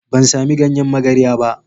Ban samu ganyen magarya ba.